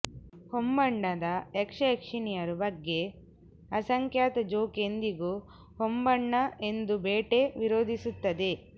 ಹೊಂಬಣ್ಣದ ಯಕ್ಷಯಕ್ಷಿಣಿಯರು ಬಗ್ಗೆ ಅಸಂಖ್ಯಾತ ಜೋಕ್ ಎಂದಿಗೂ ಹೊಂಬಣ್ಣ ಎಂದು ಬೇಟೆ ವಿರೋಧಿಸುತ್ತವೆ